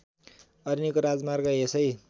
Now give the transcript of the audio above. अरनिको राजमार्ग यसै